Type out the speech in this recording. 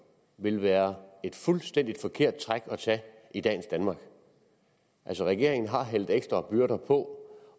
vil være et fuldstændig forkert træk at tage i dagens danmark regeringen har lagt ekstra byrder på